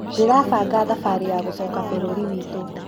Ndĩrabanga thabarĩ ya gũcoka bũrũri wĩtu